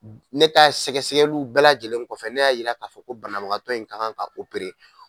Ne ta ye sɛgɛsɛgɛliw bɛɛ lajɛlen kɔfɛ ne y'a yira k'a fɔ ko banabagatɔ in ka kan ka